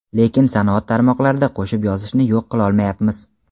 lekin sanoat tarmoqlarida qo‘shib yozishni yo‘q qilolmayapmiz.